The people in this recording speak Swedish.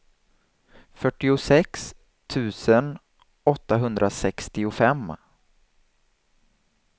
fyrtiosex tusen åttahundrasextiofem